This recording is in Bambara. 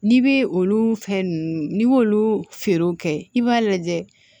N'i bɛ olu fɛn ninnu n'i y'olu feerew kɛ i b'a lajɛ